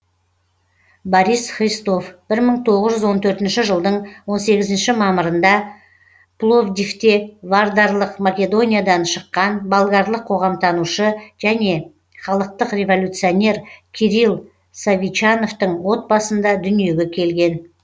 борис христов бір мың тоғыз жүз он төртінші жылдың он сегізінші мамырында пловдивте вардарлық македониядан шыққан болгарлық қоғамтанушы және халықтық революционер кирил совичановтың отбасында дүниеге келген